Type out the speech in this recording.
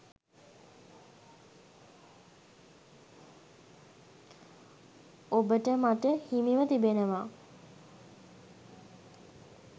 ඔබට මට හිමිව තිබෙනවා.